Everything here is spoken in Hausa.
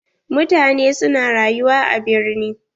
Mutane su na rayuwa a birni.